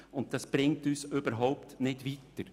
Dies bringt uns überhaupt nicht weiter.